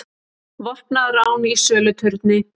Vopnað rán í söluturni